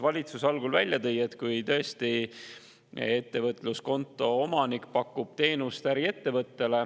Valitsus tõi algul välja, et kui ettevõtluskonto omanik pakub teenust äriettevõttele …